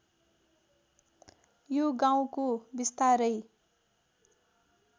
यो गाउँको बिस्तारै